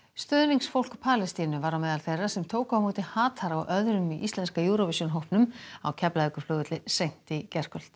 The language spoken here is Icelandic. stuðningsfólk Palestínu var á meðal þeirra sem tóku á móti hatara og öðrum í íslenska Eurovision hópnum á Keflavíkurflugvelli seint í gærkvöld